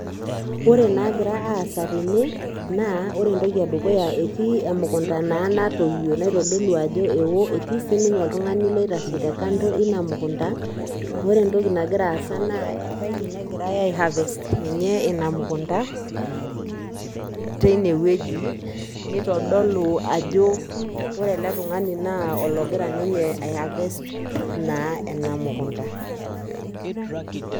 Ore inaagira aasa tene naa, ore entoki edukuya entii emukunta naa natoyio nitodolu ajo ewo etii sininye iltung'ani loitashek te[cskando ina mukunta, ore entoki garira aasa ebaiki ai harvest ina mukunta teine woji neitodolu ajo ore ele tung'ani naa ologira ninye ai harvest naa ena mukunta.